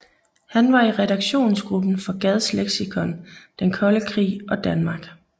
Han var i redaktionsgruppen for Gads leksikon Den Kolde Krig og Danmark